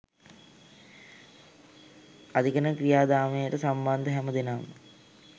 අධිකරණ ක්‍රියාදාමයට සම්බන්ධ හැම දෙනාම